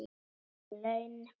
Ekki laun.